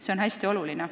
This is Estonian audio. See on hästi oluline.